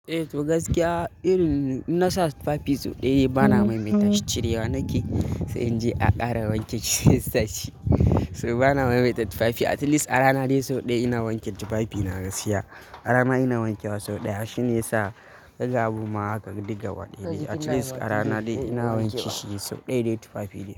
Eh to gaskiya irin in nasa tufafi sau ɗaya bana maimaitashi cirewa nake sai in je a ƙara wanke shi in sa shi. To bana maimaita tufafi at least a rana dai sau ɗaya ina wanke tufafi na gaskiya. A rana ina wankewa sau ɗaya shine yasa zai gabu ma haka diga waɗanni. At least a rana dai ina wanke shi sau ɗaya dai tufafi ɗaya.